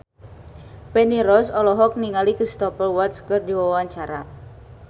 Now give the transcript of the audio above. Feni Rose olohok ningali Cristhoper Waltz keur diwawancara